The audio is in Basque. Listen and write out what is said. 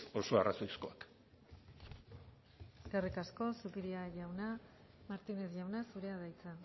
oso arrazoizkoak eskerrik asko zupiria jauna martínez jauna zurea da hitza